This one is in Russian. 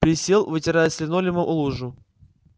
присел вытирая с линолеума лужу